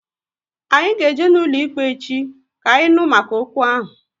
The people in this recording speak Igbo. Anyị ga eje n'ụlọikpe echi, ka anyị nụ maka okwu ahụ